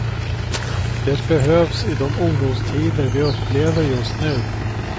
Det behövs i de orostider vi upplever just nu.